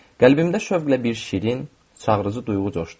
Qəlbimdə şövqlə bir şirin, çağırıcı duyğu coşdu.